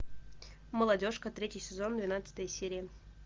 молодежка третий сезон двенадцатая серия